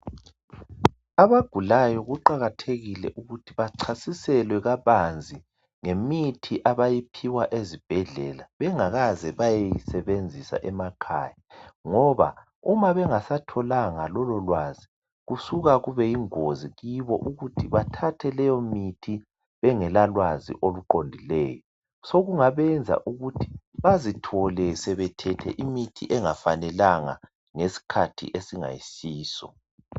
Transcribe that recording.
abagulayo kuqakathekile ukuthi bacasiselwa kabanzi ngemithi abayiphiwa ezibhedlela bengakaze bayeyisebenzisa emakaya ngoba uma bengasatholanga lolo lwazi kusuka kube yingori kibo ukuthi bathathe leyo mithi bengela lwazi oluqondileyo sokungabenza ukuthi bazithole sebethethe imithi engafanelanga ngesikhathi esingayisiso